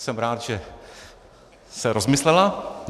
Jsem rád, že se rozmyslela.